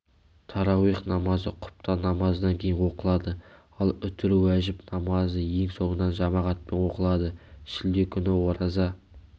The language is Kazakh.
тарауих намазы құптан намазынан кейін оқылады ал үтір-уәжіп намазы ең соңынан жамағатпен оқылады шілде күні ораза